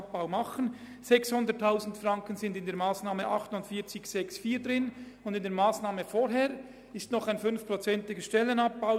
600 000 Franken sind in der Massnahme 48.6.4 enthalten, und in der vorangehenden Massnahme ist noch ein Stellenabbau um 5 Prozent vorgesehen.